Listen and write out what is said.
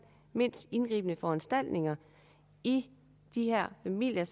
mindst indgribende foranstaltning i de her familier